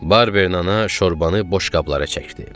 Barberin ana şorbanı boşqablara çəkdi.